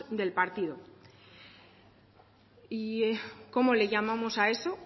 del partido y cómo le llamamos a eso